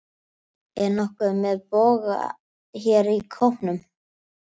Er nokkur með boga hér í hópnum?